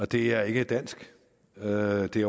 det er ikke dansk og det